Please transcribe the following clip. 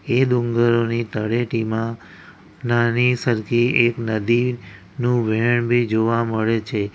એ ડુંગરની તળેટીમાં નાની સરખી એક નદીનું વહેણ બી જોવા મળે છે.